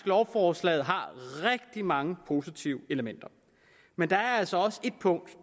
lovforslaget har rigtig mange positive elementer men der er altså også et punkt